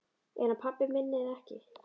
Er hann pabbi minn eða ekki?